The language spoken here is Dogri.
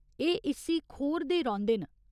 एह् इस्सी खोरदे रौंह्दे न।